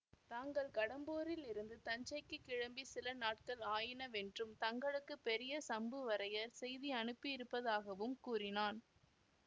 தாங்கள் கடம்பூரிலிருந்து தஞ்சைக்குக் கிளம்பி சில நாட்கள் ஆயினவென்றும் தங்களுக்குப் பெரிய சம்புவரையர் செய்தி அனுப்பியிருப்பதாகவும் கூறினான்